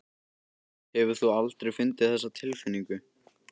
Hefur þú aldrei fundið þessa tilfinningu?